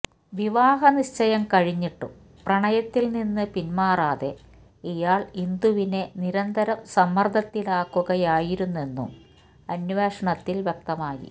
വിവാഹനിശ്ചയം കഴിഞ്ഞിട്ടും പ്രണയത്തില് നിന്നു പിന്മാറാതെ ഇയാള് ഇന്ദുവിനെ നിരന്തരം സമ്മര്ദ്ദത്തിലാക്കുകയായിരുന്നുവെന്നും അന്വേഷണത്തില് വ്യക്തമായി